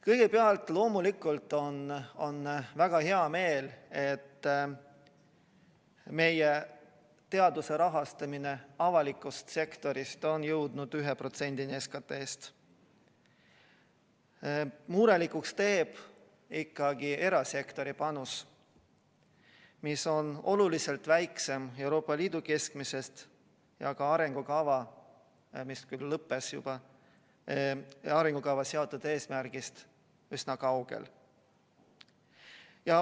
Kõigepealt, loomulikult on väga hea meel, et meie teaduse rahastamine avalikust sektorist on jõudnud 1%‑ni SKT‑st. Murelikuks teeb ikkagi erasektori panus, mis on oluliselt väiksem Euroopa Liidu keskmisest ja ka arengukavas seatud eesmärgist üsna kaugel.